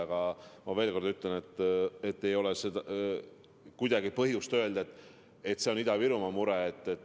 Aga ma veel kord ütlen, et ei ole kuidagi põhjust öelda, et see on vaid Ida-Virumaa mure.